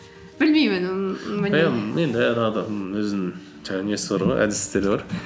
білмеймін енді әр адамның өзінің жаңағы несі бар ғой әдістері бар